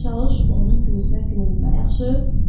Çalış onun gözünə görünmə, yaxşı?